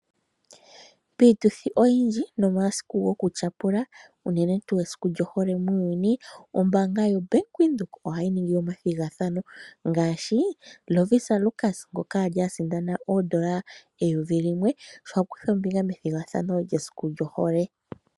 Piituthi oyindji nomasiku goku tyapula unene tu esiku lyohole muuyuni . Ombaanga yo Bank Windhoek ohayi ningi ethigathano . Ngaashi Lovisa Lukas ngoka ali asindana oodola eyovi limwe sho akutha ombinga methigathano lyesiku lyohole.